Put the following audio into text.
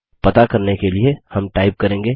पता करने के लिए हम टाइप करेंगे